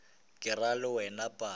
ke ra le wena padi